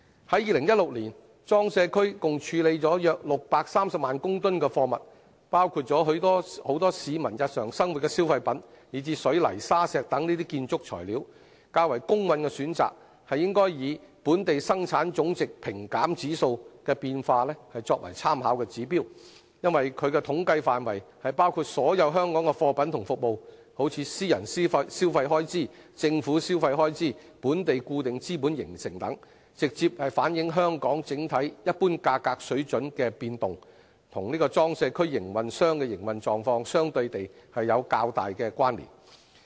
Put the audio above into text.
在2016年，裝卸區共處理約630萬公噸貨物，包括很多市民日常生活的消費品以至水泥、沙石等建築材料，較公允的選擇是以"本地生產總值平減指數"的變化為參考指標，因其統計範圍包括所有香港的貨品與服務，例如私人消費開支、政府消費開支、本地固定資本形成等，直接反映香港整體一般價格水準的變動，與裝卸區營運商的營運狀況相對有較大的關連。